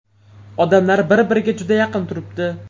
Odamlar bir-biriga juda yaqin turibdi.